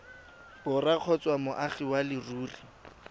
borwa kgotsa moagi wa leruri